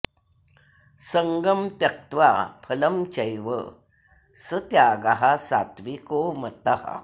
सङ्गं त्यक्त्वा फलं चैव स त्यागः सात्त्विको मतः